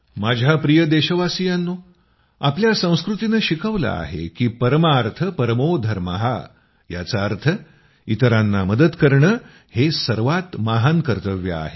माझ्या प्रिय देशवासियांनो आपल्या संस्कृतीनं शिकवलं आहे की परमार्थ परमो धर्मः याचा अर्थ इतरांना मदत करणं हे सर्वात महान कर्तव्य आहे